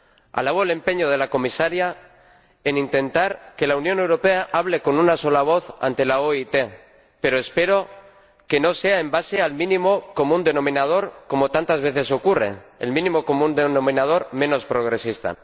Alabo el empeño de la Comisaria en intentar que la Unión Europea hable con una sola voz ante la OIT, pero espero que no sea sobre la base del mínimo común denominador, como tantas veces ocurre el mínimo común denominador menos progresista.